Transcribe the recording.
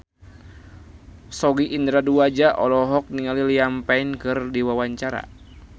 Sogi Indra Duaja olohok ningali Liam Payne keur diwawancara